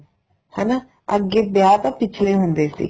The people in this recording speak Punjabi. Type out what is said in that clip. ਹੈਨਾ ਅੱਗੇ ਵਿਆਹ ਤਾਂ ਪਿੱਛਲੇ ਹੁੰਦੇ ਸੀ